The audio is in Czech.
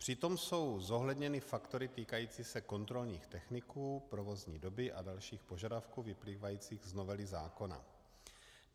Přitom jsou zohledněny faktory týkající se kontrolních techniků, provozní doby a dalších požadavků vyplývajících z novely zákona.